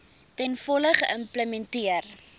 ten volle geïmplementeer